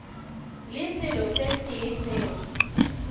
le selo se tee seo